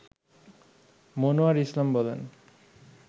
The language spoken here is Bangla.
মনোয়ার ইসলাম বলেন